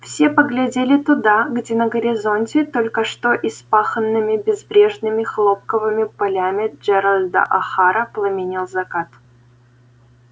все поглядели туда где на горизонте только что испаханными безбрежными хлопковыми полями джералда охара пламенел закат